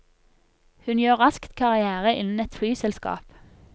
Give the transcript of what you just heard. Hun gjør raskt karriere innen et flyselskap.